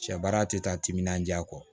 Sɛ baara tɛ taa timinandiya kɔ